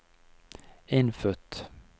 innfødt